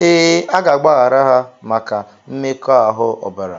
Ee, a ga-agbaghara ha maka mmekoahu obara.